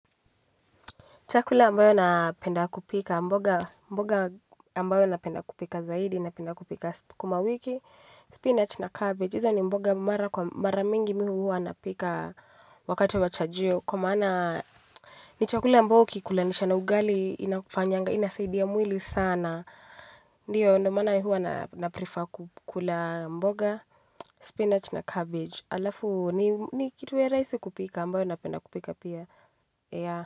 Chakula ambayo napenda kupika, mboga ambayo napenda kupika zaidi, napenda kupika skumawiki, spinach na cabbage. Hizo ni mboga mara mingi mi hu hua napika wakati wa chajio. Kwa maana ni chakula ambayo ukiikulanisha na ugali, inasaidia mwili sana. Ndiyo, ndo maana hua naprifa kukula mboga, spinach na cabbage. Alafu ni kitu ya raisi kupika ambayo napenda kupika pia.